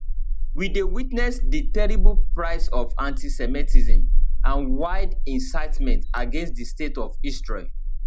we dey witness di terrible price of antisemitism and wild incitement against di state of israel